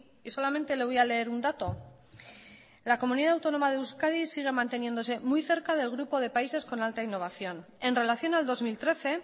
y solamente le voy a leer un dato la comunidad autónoma de euskadi sigue manteniéndose muy cerca del grupo de países con alta innovación en relación al dos mil trece